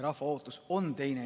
Rahva ootus on teine.